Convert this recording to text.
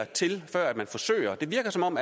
til før man forsøger det virker som om